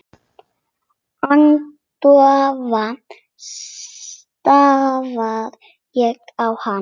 Agndofa stari ég á hana.